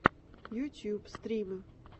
ютьюб стримы